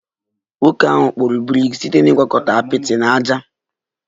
Nwoke ahụ kpụrụ brik site na ịgwakọta apịtị na ájá